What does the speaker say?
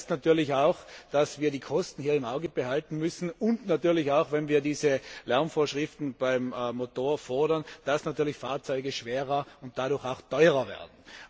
Das heißt natürlich auch, dass wir die Kosten im Auge behalten müssen, und natürlich auch, wenn wir diese Lärmvorschriften beim Motor fordern, dass Fahrzeuge schwerer und dadurch auch teurer werden.